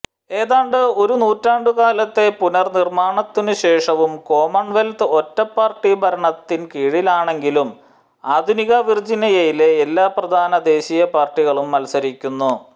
ഏതാണ്ട് ഒരു നൂറ്റാണ്ടുകാലത്തെ പുനർനിർമ്മാണത്തിനുശേഷവും കോമൺവെൽത്ത് ഒറ്റപ്പാർട്ടി ഭരണത്തിൻ കീഴിലാണെങ്കിലും ആധുനിക വിർജീനിയയിൽ എല്ലാ പ്രധാന ദേശീയ പാർട്ടികളും മത്സരിക്കുന്നു